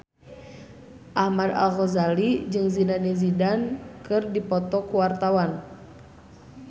Ahmad Al-Ghazali jeung Zidane Zidane keur dipoto ku wartawan